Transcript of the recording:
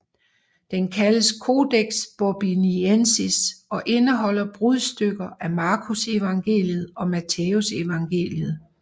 Den kaldes Codex Bobbiensis og indeholder brudstykker af Markusevangeliet og Mattæusevangeliet